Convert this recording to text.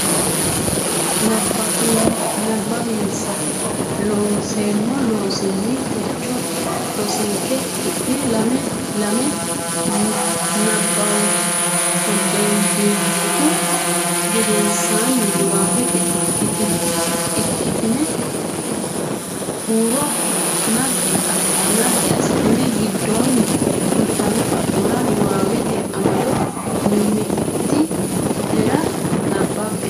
nabbawinsa Loonseemmo Loossinanni techo rosinke ki ne lame lame nabbambummohu gedensaanni niwaawete ikkitine huuro ne naggi assitine giddonni fultino xa mora niwaawete amado mimmiti nera nabbabbe.